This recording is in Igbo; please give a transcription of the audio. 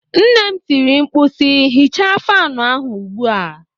Nne m tiri mkpu si, hichaa fanụ ahụ ugbu a!